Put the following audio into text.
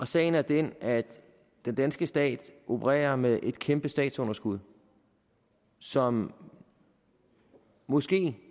sagen er den at den danske stat opererer med et kæmpe statsunderskud som måske